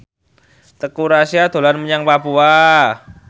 Teuku Rassya dolan menyang Papua